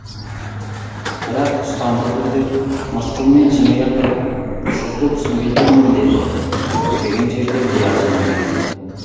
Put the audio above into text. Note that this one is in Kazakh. бірақ ұстамды түрде мысқылмен жымия тұрып сізді түсінбей тұрмын деді күтпеген жерде биязы үнмен